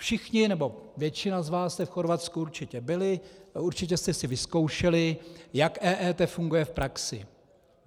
Všichni, nebo většina z vás jste v Chorvatsku určitě byli, určitě jste si vyzkoušeli, jak EET funguje v praxi.